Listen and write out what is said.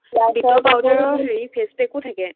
বিটৰ powder ৰ face pack ও থাকে।